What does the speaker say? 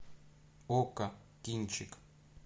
окко кинчик